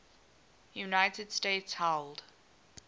united states held